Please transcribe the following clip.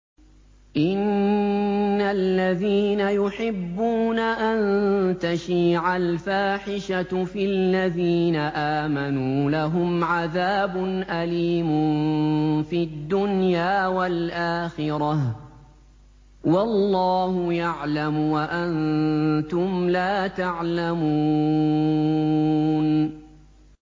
إِنَّ الَّذِينَ يُحِبُّونَ أَن تَشِيعَ الْفَاحِشَةُ فِي الَّذِينَ آمَنُوا لَهُمْ عَذَابٌ أَلِيمٌ فِي الدُّنْيَا وَالْآخِرَةِ ۚ وَاللَّهُ يَعْلَمُ وَأَنتُمْ لَا تَعْلَمُونَ